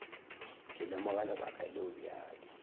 ke lemoga lebaka leo bjale